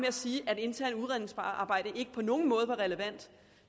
at sige at det interne udredningsarbejde ikke på nogen måde var relevant